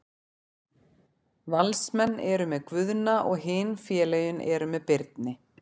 Valsmenn eru með Guðna og hin félögin eru með Birni.